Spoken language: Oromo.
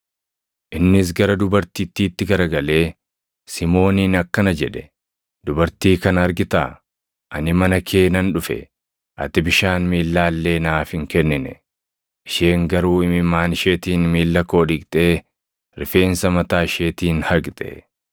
Innis gara dubartittiitti garagalee Simooniin akkana jedhe; “Dubartii kana argitaa? Ani mana kee nan dhufe. Ati bishaan miillaa illee naaf hin kennine; isheen garuu imimmaan isheetiin miilla koo dhiqxee rifeensa mataa isheetiin haqxe.